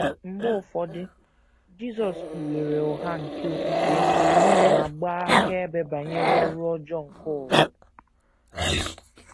Mgbe ụfọdụ, Jisọs kpughere ụgha nke okpukpe ma gbaa akaebe banyere ọrụ ọjọọ nke ụwa.